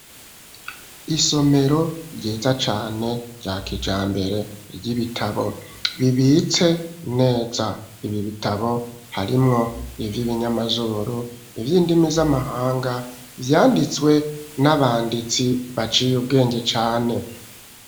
Isomero ryiza cane rya kijambere ry'ibitabo bibitse neza, ibi bitabo harimwo ivy'ibinyamazuru, ivy'indimi z'amahanga vyanditswe n'abanditsi baciye ubwenge cane.